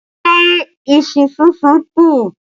Ṣé iṣu súnsun kù?